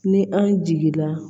Ni an jigi la